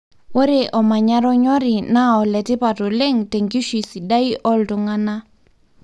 ore omanyara onyori na oletipat oleng tenkishui sidai oltunganaa